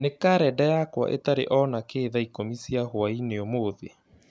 Nĩ karenda yakwa ĩtarĩ o nakĩĩ thaa ikũmi cia hwaĩinĩ ũmũthĩ